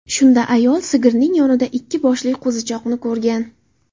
Shunda ayol sigirning yonida ikki boshli qo‘zichoqni ko‘rgan.